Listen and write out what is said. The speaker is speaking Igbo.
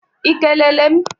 I kelele m?